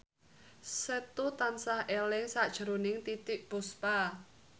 Setu tansah eling sakjroning Titiek Puspa